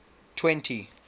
twenty